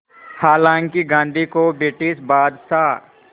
हालांकि गांधी को ब्रिटिश बादशाह